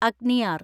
Agniyar